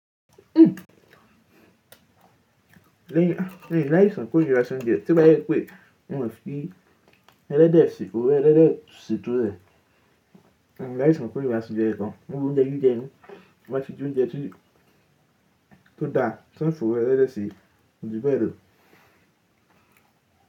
Mi ò l'áìsàn ìkóríra sí oúnjẹ, tó bá jẹ́ pé wọn ò fi ẹlẹ́dẹ̀ sí òróró ẹlẹ́dẹ̀ ṣe ètò rẹ̀. Mi ò l'àìsàn ìkóríra sí oúnjẹ kankan. Gbogbo oúnjẹ, jíjẹ ni tó bá ti jẹ oúnjẹ tí ó dá, tí wọn ò fi òróró ẹlẹ́dẹ̀ sí, kò ju bẹ́ẹ̀ lò.